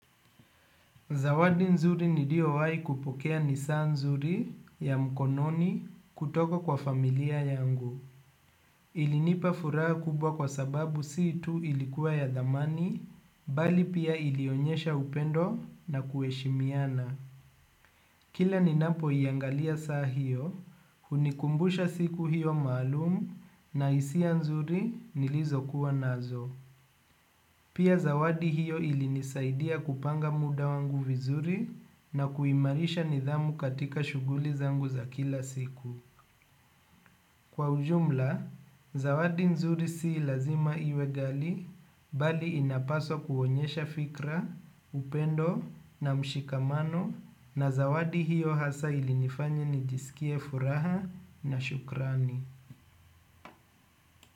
Zawadi nzuri niliyowahi kupokea ni saa nzuri ya mkononi kutoka kwa familia yangu. Ilinipa furaha kubwa kwa sababu si tu ilikuwa ya dhamani, bali pia ilionyesha upendo na kuheshimiana. Kila ninapoiangalia saa hio hunikumbusha siku hiyo maalum na hisia nzuri nilizokuwa nazo. Pia zawadi hiyo ilinisaidia kupanga muda wangu vizuri na kuimarisha nidhamu katika shughuli zangu za kila siku. Kwa ujumla, zawadi nzuri si lazima iwe ghali bali inapaswa kuonyesha fikra, upendo na mshikamano na zawadi hiyo hasa ilinifanya nijisikie furaha na shukrani.